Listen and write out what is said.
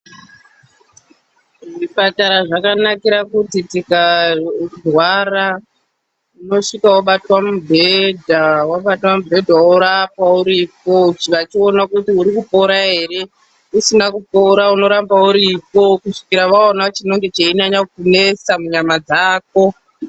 Zvipatara zvakanakira kuti tikarwara unosvika wobatwa mubhedha, wabatwa mubhedha worapwa uripo vachiona kuti uri kupora ere. Usina kupora unoramba uripo kusvikira vaona chinenge cheinyanya kukunesa munyama dzako.